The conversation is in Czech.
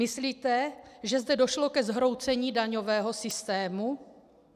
Myslíte, že zde došlo ke zhroucení daňového systému?